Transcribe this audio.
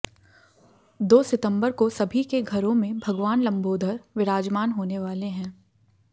दो सितंबर को सभी के घरों में भगवान लंबोधर विराजमान होने वाले हैं